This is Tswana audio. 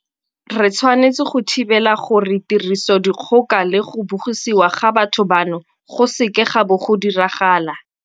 Re tshwanetse go thibela gore tirisodikgoka le go bogisiwa ga batho bano go seke ga bo ga diragala.